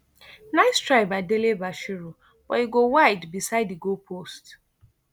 nice try by dele bashiru but e go wide beside di goalpost